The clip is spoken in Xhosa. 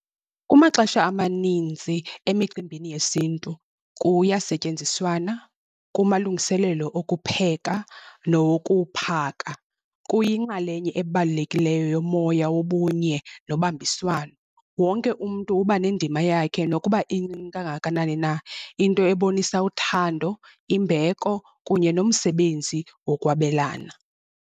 Kumaxesha amaninzi emicimbini yesintu kuyasetyenziswana kumalungiselelo okupheka nokuphaka, kuyinxalenye ebalulekileyo yomoya wobunye nobambiswano. Wonke umntu uba nendima yakhe nokuba incinci kangakanani na, into ebonisa uthando, imbeko kunye nomsebenzi wokwabelana.